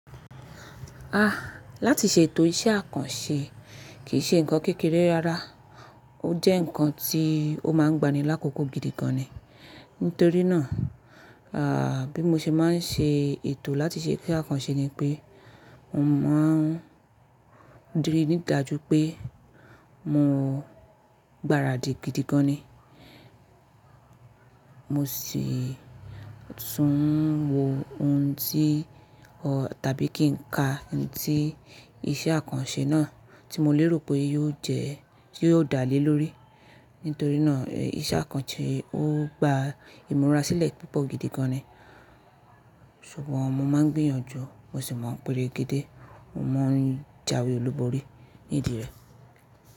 Ah! Láti ṣe ètò iṣẹ́ àkànṣe kì í ṣe ǹkan kékeré rárá, ó jẹ́ ǹkan tí ó máa ń gba ni lákòókò gidi gan ni. Nítorí náà, ah, bí mo ṣe máa ń ṣe ètò láti ṣe iṣẹ́ àkànṣe ni pé mo máa ń rí ní ìdájú pé mo gbáradì gidi gan ni. Mo sì tún ń wo ohun tí o tàbí kí n ka ohun tí iṣẹ́ àkànṣe náà tí mo lérò pé yóò jẹ́, tí yóò dá lé lórí. Nítorí náà, iṣẹ́ àkànṣe ó gba ìmúra sílẹ̀ púpọ̀ gidi gan ni. Ṣùgbọ́n mo máa ń gbìyànjú, mo sì máa ń peregede, mo máa ń jáwé olúborí nídì rẹ̀.